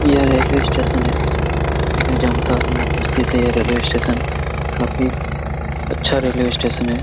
यह railway station है जो जामताड़ा में उपस्थित है यह रेलवे स्टेशन बाकी अच्छा रेलवे स्टेशन है।